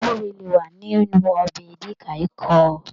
Guure le wa nínú ọbẹ edikaikong.